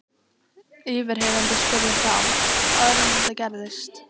Yfirheyrandi spurði þá: Áður en þetta gerðist?